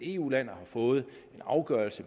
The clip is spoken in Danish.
eu land og har fået en afgørelse